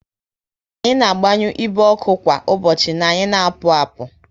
Anyi na agbanyu igbe ọkụ kwa ụbọchị na anyị na apụ apu